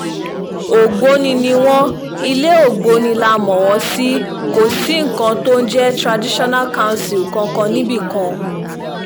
ògbóni ni wọ́n ilẹ̀ ògbóni là mọ́ wọn sí kò sí nǹkan tó ń jẹ́ traditional council kankan níbì kan